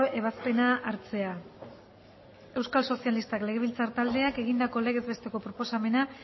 ebazpena hartzea euskal sozialistak legebiltzar taldeak egindako legez besteko proposamena